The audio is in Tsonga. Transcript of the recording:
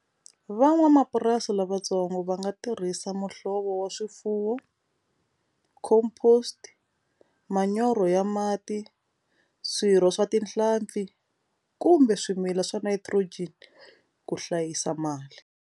Van'wamapurasi lavatsongo va nga tirhisa muhlovo wa swifuwo composed manyoro ya mati swirho swa tinhlampfi kumbe swimila swa nitrogen ku hlayisa mali.